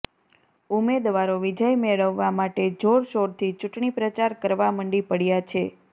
ઉમેદવારો વિજય મેળવવા માટે જોરશોરથી ચૂંટણીપ્રચાર કરવા મંડી પડયા છે